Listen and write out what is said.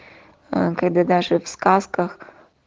когда даже в сказках